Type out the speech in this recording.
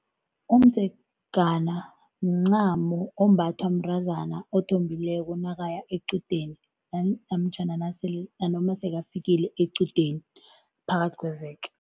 Umdzegana mncamo ombathwa mntazana othombileko nakaya equdeni namtjhana nasele nanoma sebafikile equdeni phakathi kweveke.